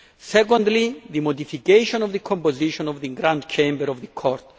secondly, the modification of the composition of the Grand Chamber of the Court